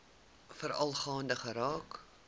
veral gaande geraak